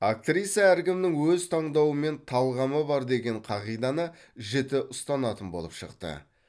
актриса әркімнің өз таңдауы мен талғамы бар деген қағиданы жіті ұстанатын болып шықты